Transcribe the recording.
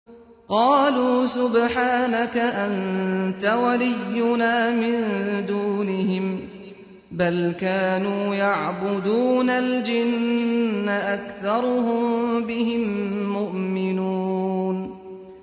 قَالُوا سُبْحَانَكَ أَنتَ وَلِيُّنَا مِن دُونِهِم ۖ بَلْ كَانُوا يَعْبُدُونَ الْجِنَّ ۖ أَكْثَرُهُم بِهِم مُّؤْمِنُونَ